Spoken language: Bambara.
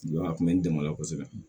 a kun bɛ n dɛmɛ o la kosɛbɛ